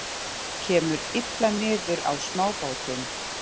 Kemur illa niður á smábátum